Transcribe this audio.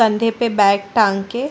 कंधे पे बैग टांग के --